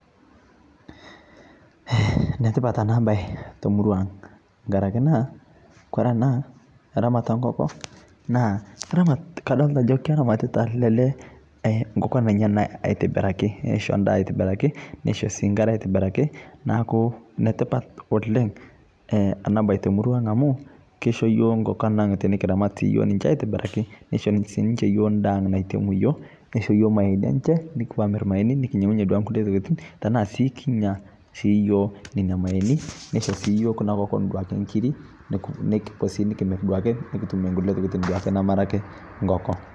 netipat anaa bai tomorua aang ngarakee naa kore anaa ramat ee nkokoo naa ramat kadolita ajoo keramatitaa ale lee nkokon enyana aitibirakii neisho ndaa aitibirakii neishoo sii nkare aitibirakii naaku netipat oleng ana bai temurua aang amuu keisho yooh nkokon ang tinikiramat sii yooh ninshe aitibirakii neishoo sii yooh ninshe ndaa aang naitemu yooh neishoo yooh mayeyeni enshee nukupuo amir mayeni nikinyengunye duake nkulie tokitin tanaa sii kinyaa sii yooh nenia mayeeni neishoo sii yooh duake kuna kokon nkirii neiko nikimir duake nikitumie nkulie tokitin namara ake nkokoo